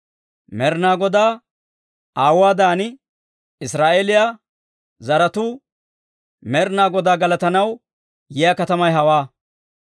Med'inaa Godaa awaayuwaadan, Israa'eeliyaa zaratuu, Med'inaa Godaa galatanaw yiyaa katamay hawaa.